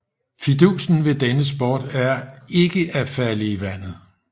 Fidusen ved denne sport er ikke at falde i vandet